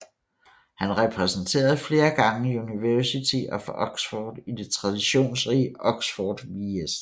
Han repræsenterede flere gange University of Oxford i det traditionsrige Oxford vs